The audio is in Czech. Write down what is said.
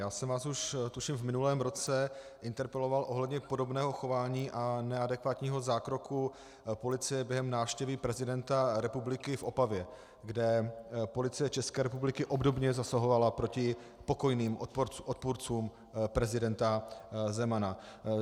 Já jsem vás už tuším v minulém roce interpeloval ohledně podobného chování a neadekvátního zákroku policie během návštěvy prezidenta republiky v Opavě, kde Policie České republiky obdobně zasahovala proti pokojným odpůrcům prezidenta Zemana.